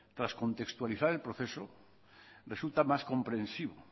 tras contextualizar el proceso resulta más comprensivo